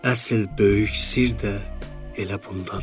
Əsl böyük sirr də elə bundadır.